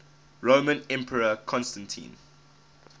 roman emperor constantine